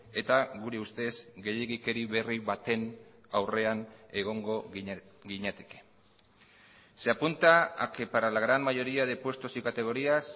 eta gure ustez gehiegikeri berri baten aurrean egongo ginateke se apunta a que para la gran mayoría de puestos y categorías